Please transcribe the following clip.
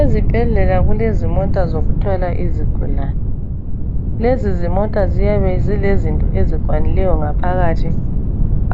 Ezibhedlela kulezimota zokuthwala izigulane. Lezi zimota ziyabe zilezinto ezikwanileyo ngaphakathi.